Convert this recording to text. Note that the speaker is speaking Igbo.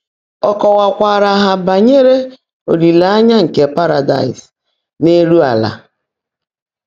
Ọ́ kọ́wákwáárá há bányèré ólìléényá nkè Párádáịs n’élú álá.